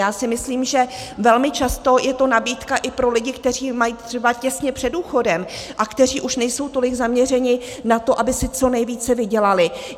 Já si myslím, že velmi často je to nabídka i pro lidi, kteří mají třeba těsně před důchodem a kteří už nejsou tolik zaměřeni na to, aby si co nejvíce vydělali.